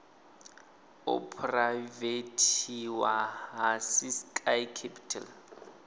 u phuraivethiwa ha ciskei capital